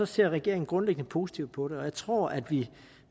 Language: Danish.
ser regeringen grundlæggende positivt på det og jeg tror at vi